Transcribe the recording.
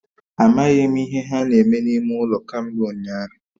Amaghi m ihe ha na-eme n'ime ulo kambe unyahu